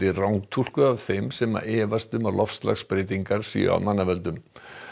rangtúlkuð af þeim sem efast um að loftslagsbreytingar séu af mannavöldum